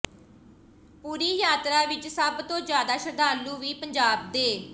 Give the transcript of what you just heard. ਪੂਰੀ ਯਾਤਰਾ ਵਿੱਚ ਸਭ ਤੋਂ ਜ਼ਿਆਦਾ ਸ਼ਰੱਧਾਲੂ ਵੀ ਪੰਜਾਬ ਦੇ